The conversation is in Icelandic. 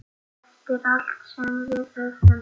Eftir allt sem við höfum.